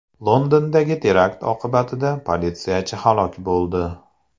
Londondagi terakt oqibatida politsiyachi halok bo‘ldi.